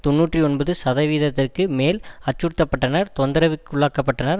தொன்னூற்றி ஒன்பது சதவீதத்திற்கு மேல் அச்சுறுத்த பட்டனர் தொந்திரவுக்குள்ளாக்கப்பட்டனர்